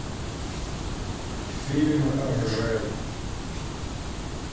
фильм ржев